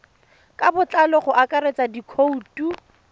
ka botlalo go akaretsa dikhoutu